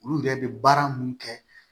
Olu yɛrɛ bɛ baara mun kɛ